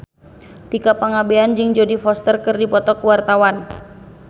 Tika Pangabean jeung Jodie Foster keur dipoto ku wartawan